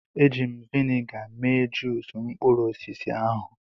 Eji m vịnịga mee juusu mkpụrụ osisi ahụ.